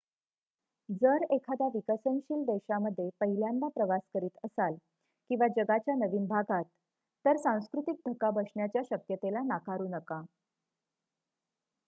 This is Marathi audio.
जर एखाद्या विकसनशील देशामध्ये पहिल्यान्दः प्रवास करीत असाल किंवा जगाच्या नवीन भागात तर सांस्कृतिक धक्का बसण्याच्या शक्यते ला नाकारू नका